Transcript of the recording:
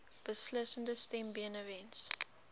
beslissende stem benewens